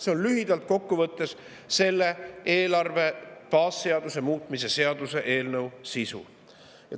See on lühidalt kokku võttes selle eelarve baasseaduse muutmise seaduse eelnõu sisu.